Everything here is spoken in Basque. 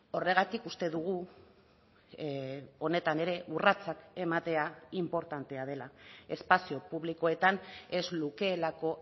horregatik uste dugu honetan ere urratsak ematea inportantea dela espazio publikoetan ez lukelako